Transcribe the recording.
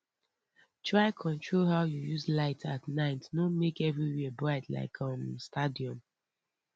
try control how you use light at night no make everywhere bright like um stadium